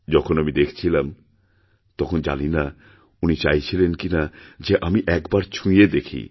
যখন আমি দেখছিলামতখন জানি না উনি চাইছিলেন কিনা যে আমি একবার ছুঁয়ে দেখি